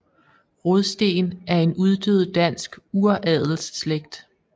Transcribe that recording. Rodsteen er en uddød dansk uradelsslægt